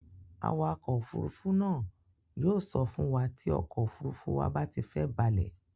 Awakọ̀ òfurufú náà yóò sọ fún wa tí ọkọ̀ òfurufú wa bá ti fẹ́ balẹ̀.